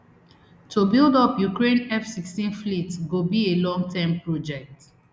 to build up ukraine fsixteen fleet go be a longterm project